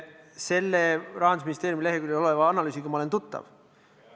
Selle Rahandusministeeriumi leheküljel oleva analüüsiga olen ma tuttav.